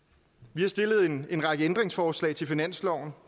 vi har stillet en en række ændringsforslag til finansloven